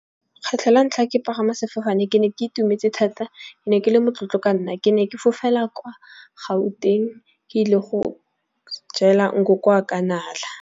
Kgetlho la ntlha ke pagama sefofane ke ne ke itumetse thata. Ke ne ke le motlotlo ka nna, ke ne ke fofela kwa Gauteng ke ile go jela nkoko wa ka nala.